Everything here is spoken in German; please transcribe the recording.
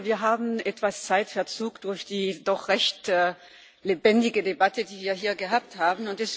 Wir haben etwas Zeitverzug durch die doch recht lebendige Debatte, die wir hier gehabt haben.